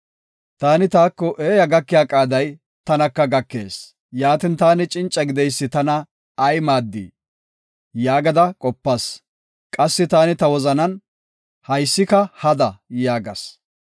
Taani taako, “Eeya gakeya qaaday tanaka gakees; yaatin, taani cinca gideysi tana ay maaddii?” yaagada qopas. Qassi taani ta wozanan, “Haysika hada” yaagas.